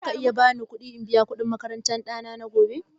Za ka iya ba ni aron kuɗi in biya kuɗin makarantan ɗana na Agusta?